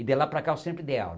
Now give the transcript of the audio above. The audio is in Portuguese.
E de lá para cá eu sempre dei aula.